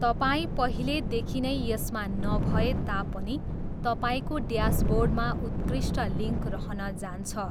तपाईँ पहिलेदेखि नै यसमा नभए तापनि तपाईँको ड्यासबोर्डमा उत्कृष्ट लिङ्क रहन जान्छ।